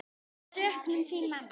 Söknum þín, amma.